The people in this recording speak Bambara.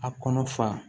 A kɔnɔ fa